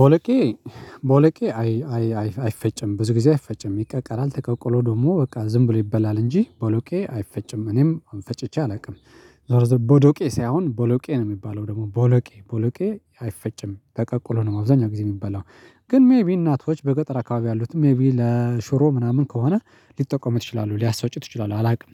ቦለቄ ቦለቄ አይፈጭም ብዙ ጊዜ አይፈጭም ይቀቀለል ተቀቅሎ ደግሞ በቃ ዝም ብሎ ይበላል እንጂ ቦሎቄ አይፈጭም እኔም አሁን ፈጭቼ አላውቅም። ዞሮ ዞሮ ቦዶቄ ሳይሆን ቦሎቄ ነው የሚባለው ደግሞ ቦሎቄ ቦሎቄ አይፈጭም ተቀቅሎ ነው አብዛኛው ጊዜ የሚበላው። ግን ሜይቢ እናቶች በገጠር አካባቢ ያሉት ሜይቢ ለሹሮ ምናምን ከሆነ ሊጠቀም ይችላሉ ሊያሳፋጩት ይችላሉ አላውቅም።